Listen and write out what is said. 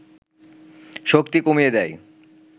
শক্তি কমিয়ে দেয়